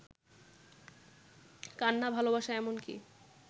কান্না, ভালোবাসা এমনকি